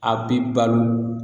A bi balo